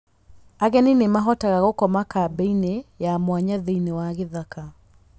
Ageni nĩ mahotaga gũkoma kambĩ-inĩ ya mwanya thĩinĩ wa gĩthaka.